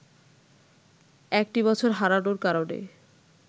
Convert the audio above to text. একটি বছর হারানোর কারণে